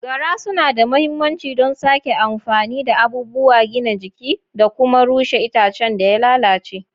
Gara suna da mahimmanci don sake amfani da abubuwan gina jiki da kuma rushe itacen da ya lalace.